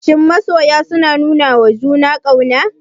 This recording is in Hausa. Shin masoya suna nunawa juna ƙauna?